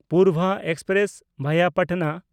Purva express (ᱵᱷᱟᱭᱟ ᱯᱟᱴᱱᱟ)